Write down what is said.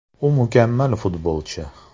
U mukammal futbolchi.